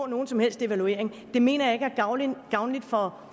nogen som helst evaluering af det mener jeg ikke er gavnligt gavnligt for